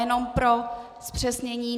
Jenom pro zpřesnění.